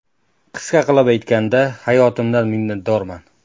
Qisqa qilib aytganda, hayotimdan minnatdorman.